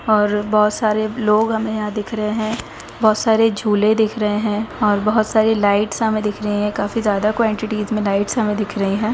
और बहुत सारे लोग हमें यहाँ दिख रहे हैं बहुत सारे झूले दिख रहे हैं और बहुत सारी लाइट्स हमें दिख रही हैं काफी ज्यादा क्वांटिटीज में लाइट्स हमें दिख रही हैं।